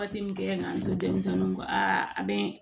Waati min kɛ an to denmisɛnninw kɔ aa a bɛ